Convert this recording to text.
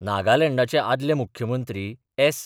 नागालँडाचे आदले मुख्यमंत्री एस्.